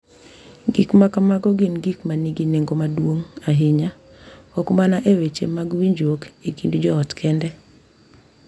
Gik ma kamago gin gik ma nigi nengo maduong’ ahinya, ok mana e weche mag winjruok e kind joot kende .